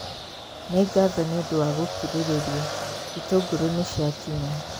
Nĩ ngatho nĩ ũndũ wa gũkirĩrĩria, itũngũrũ nĩ ciakinya